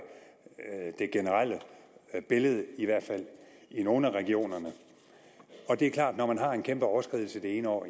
det generelle billede i hvert fald i nogle af regionerne det er klart når man har en kæmpe overskridelse det ene år